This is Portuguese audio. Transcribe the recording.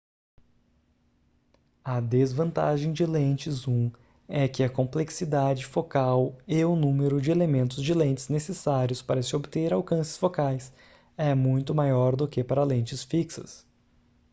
a desvantagem de lentes zoom é que a complexidade focal e o número de elementos de lentes necessários para se obter alcances focais é muito maior do que para lentes fixas